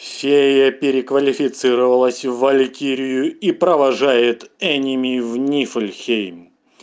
фея переквалифицировалась в валькирию и провожает эними в нифльхейм